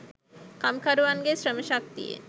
කම්කරුවන්ගේ ශ්‍රම ශක්තියෙන්